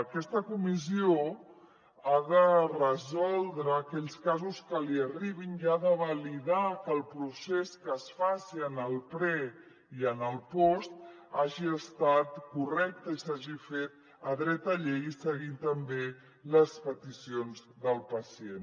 aquesta comissió ha de resoldre aquells casos que li arribin i ha de validar que el procés que es faci en el pre i en el post hagi estat correcte i s’hagi fet a dreta llei seguint també les peticions del pacient